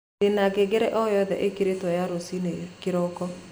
ndĩna ngengere oyothe ĩikĩrĩtwo ya rũcinĩ kĩroko